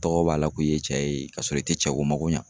Tɔgɔ b'a la ko i ye cɛ ye, ka sɔrɔ i te cɛ ko mako ɲa.